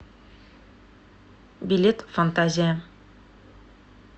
билет фантазия